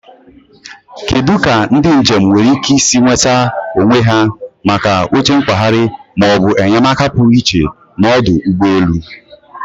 Kedu ka ndị njem nwere ike isi nweta onwe ha maka oche nkwagharị ma ọ bụ enyemaka pụrụ iche n'ọdụ ụgbọ elu?